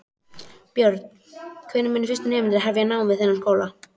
Björn: Hvenær munu fyrstu nemendur hefja nám við þennan skóla?